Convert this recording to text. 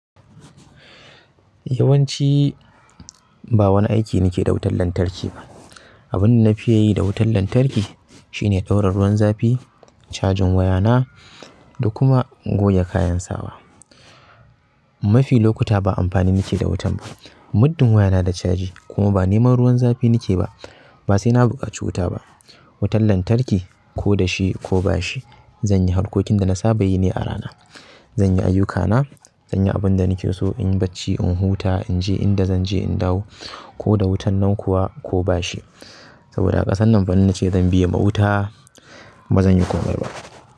Yawanci ba wani aiki nake da wutar lantarki ba. Abun da na fi yi da wutar lantarki shine ɗaura ruwan zafi, cajin wayana da kuma goge kayan sawa. Mafi lokuta ba amfani nake da wutan ba. Muddin wayana da caji kuma ba neman ruwan zafi nake ba, ba sai na buƙaci wuta ba. Wutan lantarki ko da shi ko ba shi, zan yi harkokin da na saba yi ne a rana. Zanyi ayyukana zanyi abunda nike so inyi bacci in huta inje inda zanje in dawo koda wutan nan kuwa ko bashi saboda a ƙasan nan fa in nace zan biye ma wuta bazanyi komai ba.